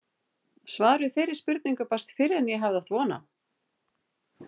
Svar við þeirri spurningu barst fyrr en ég hafði átt von á.